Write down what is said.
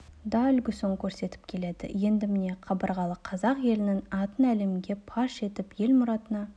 да үлгісін көрсетіп келеді енді міне қабырғалы қазақ елінің атын әлемге паш етіп асыл мұратына